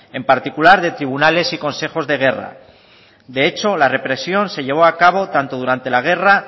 en particular de tribunales y consejos de guerra de hecho la represión se llevó a cabo tanto durante la guerra